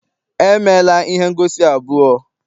E meela ihe ngosi abụọ.